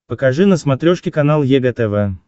покажи на смотрешке канал егэ тв